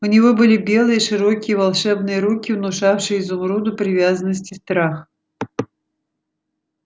у него были белые широкие волшебные руки внушавшие изумруду привязанность и страх